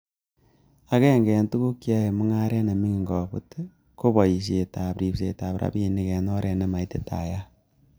Agenge en tuguk cheyoe mung'aret nemingin kobut i, ko boisiet ak ribsetab rabinik en oret nemaititaat.